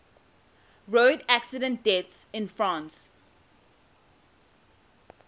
road accident deaths in france